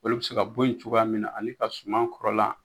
Olu bɛ se ka bɔ yen cogoya min na ani ka suma kɔrɔla.